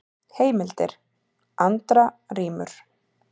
Heimildir: Andra rímur.